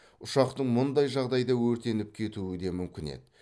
ұшақтың мұндай жағдайда өртеніп кетуі де мүмкін еді